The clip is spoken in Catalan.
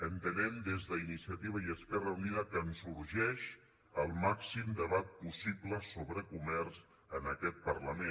entenem des d’iniciativa i esquerra unida que ens urgeix el màxim debat possi·ble sobre comerç en aquest parlament